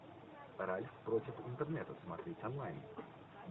ральф против интернета смотреть онлайн